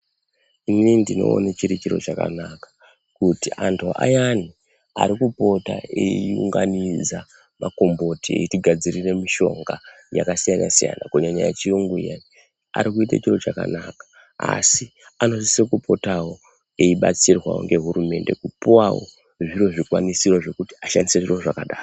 Inini ndinoone chiri chiro chakanaka kuti antu ayani ari kupota eiunganidza makomboti eitigadzirira mushonga yakasiyana siyana kunyanya yechiyungu iyani ari kuite chiro chakanaka asi anosise kupotawo eibatsirwawo ngehurumende kupuwawo zviro zvikwanisiro zvekuti ashandise zviro zvakadaro.